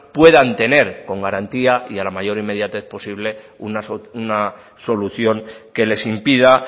puedan tener con garantía y a la mayor inmediatez posible una solución que les impida